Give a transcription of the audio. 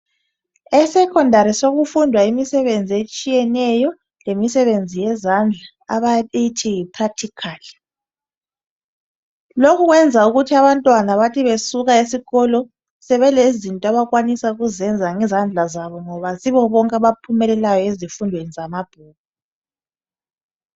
Esekhondari sokufundwa imisebenzi etshiyeneyo lemisebenzi yezandla abayithi yiprakthikhali. Lokhu kwenza ukuthi abantwana bethi besuka esikolo sebelezinto abakwanisa ukuzenza ngezandla zabo ngoba kayisibo bonke abaphumelelayo ezifundweni zamabhuku.